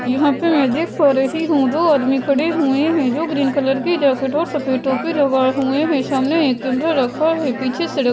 यहाँ पे मैं देख पा रही हूँ दो आदमी खड़े हुए हैं जो ग्रीन कलर के जैकेट और सफेद टोपी लगाए हुए हैं सामने एक कैमरा रखा है पीछे सेड --